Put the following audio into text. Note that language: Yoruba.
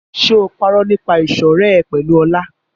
Ṣé o parọ́ nípa ìṣọ̀rẹ́ ẹ pẹ̀lú Ọlá?